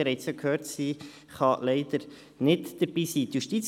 Sie haben ja gehört, dass sie leider nicht hier sein kann.